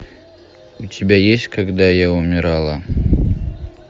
у тебя есть когда я умирала